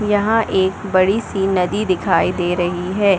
यहाँ एक बड़ी सी नदी दिखाई दे रही है।